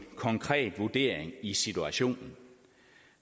konkret vurdering i situationen